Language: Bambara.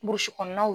Burusi kɔnɔnaw